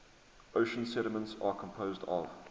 ocean sediments are composed of